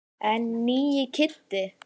En nýi Kiddi.